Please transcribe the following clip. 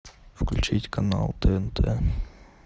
включить канал тнт